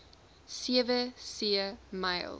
sewe see myl